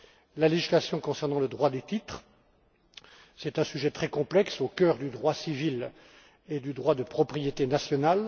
S'agissant de la législation concernant le droit des titres, c'est un sujet très complexe, au cœur du droit civil et du droit de propriété national.